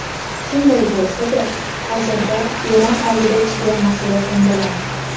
Shunday bo‘lsa-da, hozirda Eron oldida chigal masala ko‘ndalang.